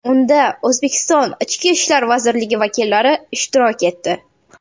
Unda O‘zbekiston Ichki ishlar vazirligi vakillari ishtirok etdi.